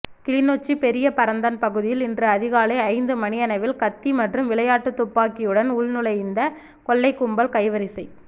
கிளிநொச்சி பெரிய பரந்தன் பகுதியில் இன்று அதிகாலை ஐந்து மணியளவில் கத்தி மற்றும் விளையாட்டு துப்பாக்கியுடன் உள்நுழைந்த கொள்ளைக்கும்பல் கைவரிசை